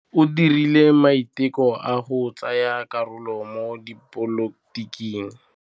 O dirile maitekô a go tsaya karolo mo dipolotiking.